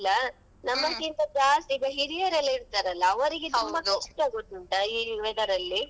ಎಲ್ಲಾ ಕಾಲವನ್ನು ಒಂದೇ ದಿನ ನೋಡಬಹುದು ಆ ತರ ಉಂಟು ಈಗ ಅಂತೂ.